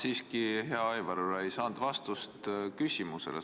Ma siiski, hea Aivar, ei saanud vastust oma küsimusele.